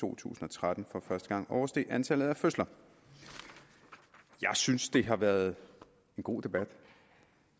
to tusind og tretten for første gang oversteg antallet af fødsler jeg synes det har været en god debat